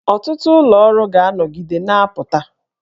Ọtụtụ ụlọ ọrụ ga-anọgide na-apụta